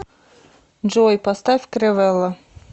джой поставь кревелла